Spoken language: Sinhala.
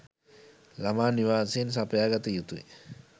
ළමා නිවාසයෙන් සපයා ගත යුතුයි